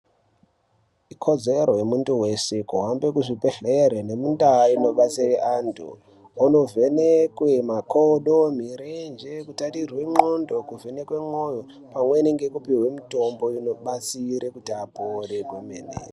Ikodzero yemuntu weshe kuhambe muzvibhehlere nemundaa inobatsire antu .Kunovhenekwe makodo ,mirenje ,kutarire nxondo ,kuvheneke mwoyo pamwechete nekupihwe mitombo inobatsira kuti apore kwemene.